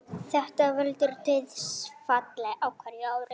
Þetta veldur dauðsfalli á hverju ári